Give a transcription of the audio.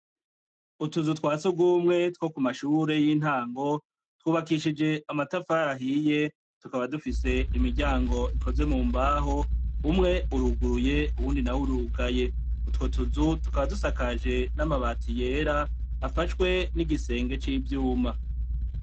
Utuzu twa surwumwe two ku mashure y'intango twubakishije amatafari ahiye, tukaba dufise imiryango ikozwe mu mbaho, umwe uruguruye uwundi nawo urugaye. Utwo tuzu tukaba dusakaje amabati yera afashwe n'igisenge c'ivyuma.